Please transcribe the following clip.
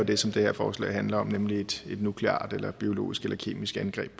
det som det her forslag handler om nemlig et nukleart eller biologisk eller kemisk angreb